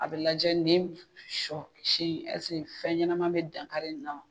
A bɛ lajɛ ni sɔ si fɛn ɲɛnama bɛ danka in na.